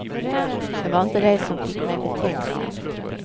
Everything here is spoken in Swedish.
Det var inte det som fick mig betänksam.